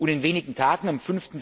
In wenigen Tagen, am